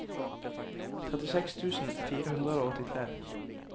trettiseks tusen fire hundre og åttitre